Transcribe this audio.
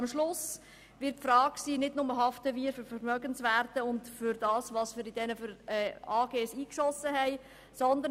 Am Ende wird sich nicht nur die Frage stellen, ob wir für Vermögenswerte und für das, was wir in diese Aktiengesellschaften eingeschossen haben, haften.